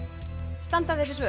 standa þessi svör